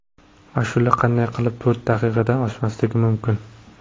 Ashula qanday qilib to‘rt daqiqadan oshmasligi mumkin.